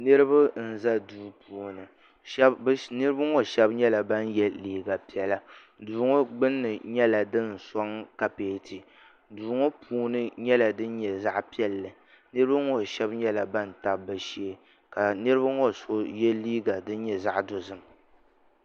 Niriba n-za duu puuni niriba ŋɔ shɛba nyɛla ban ye liiga piɛla duu ŋɔ gbunni nyɛla din sɔŋ kapeeti duu ŋɔ puuni nyɛla din nyɛ zaɣ'piɛlli niriba ŋɔ shɛba nyɛla ban tabi bɛ shee ka niriba ŋɔ so ye liiga din nyɛ zaɣ'dozim.